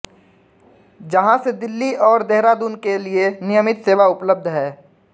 जहां से दिल्ली और देहरादून के लिए नियमित सेवा उपलब्ध है